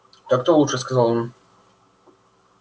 так-то лучше сказал он